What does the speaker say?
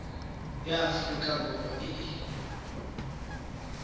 ya aforika borwa e e